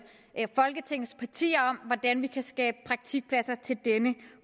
folketingets partier om hvordan vi kan skabe praktikpladser til denne